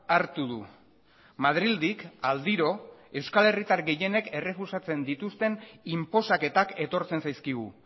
hartu du madrildik aldiro euskal herritar gehienek errefusatzen dituzten inposaketak etortzen zaizkigu